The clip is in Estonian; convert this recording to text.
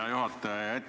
Hea juhataja!